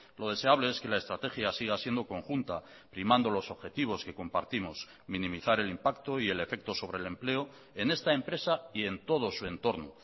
lo deseable es que la estrategia siga siendo conjunta primando los objetivos que compartimos minimizar el impacto y el efecto sobre el empleo en esta empresa y en todo su entorno